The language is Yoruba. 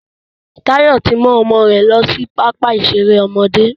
Tayọ tí mú ọmọ rẹ lọ sí pápá ìṣeré ọmọdé